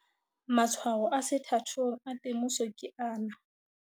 Matshwao a sethathong a temoso ke ana.